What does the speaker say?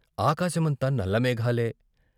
ఆకాశమంతా నల్ల మేఘాలే.